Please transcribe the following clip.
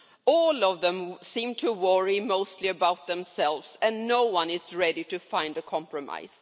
All of them seem to worry mostly about themselves and no one is ready to find a compromise.